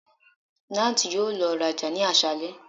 Nath yoo lọ raja ni aṣalẹ